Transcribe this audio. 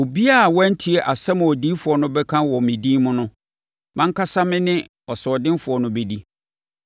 Obiara a wantie asɛm a odiyifoɔ no bɛka wɔ me din mu no, mʼankasa me ne ɔsoɔdenfoɔ no bɛdi.